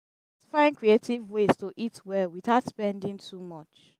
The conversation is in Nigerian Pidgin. food price price dey high e make am hard to maintain balanced diet for families.